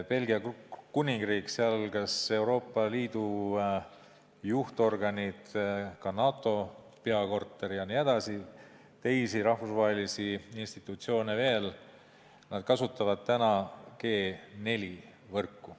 Belgia Kuningriigis, seal kus on Euroopa Liidu juhtorganid, ka NATO peakorter ja veel teised rahvusvahelised institutsioonid, kasutatakse täna 4G-võrku.